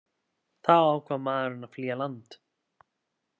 Þá ákvað maðurinn að flýja land